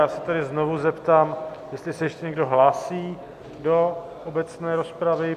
Já se tedy znovu zeptám, jestli se ještě někdo hlásí do obecné rozpravy.